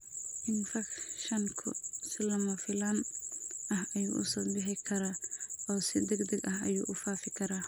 Infekshanku si lama filaan ah ayuu u soo bixi karaa oo si degdeg ah ayuu u fidi karaa.